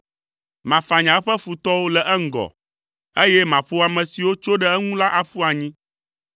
Mafanya eƒe futɔwo le eŋgɔ, eye maƒo ame siwo tso ɖe eŋu la aƒu anyi.